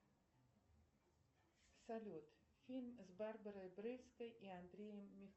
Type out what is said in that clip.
салют фильм с барбарой брыльской и андреем